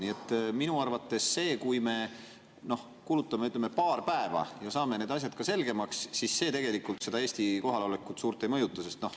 Nii et minu arvates see, kui me kulutame, ütleme, paar päeva ja saame need asjad selgemaks, seda Eesti kohalolekut suurt ei mõjuta.